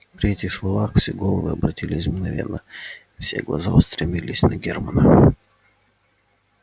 при этих словах все головы обратились мгновенно и все глаза устремились на германна